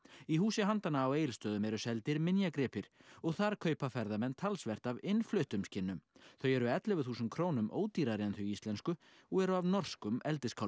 í húsi handanna á Egilsstöðum eru seldir minjagripir og þar kaupa ferðamenn talsvert af innfluttum skinnum þau eru ellefu þúsund krónum ódýrari en þau íslensku og eru af norskum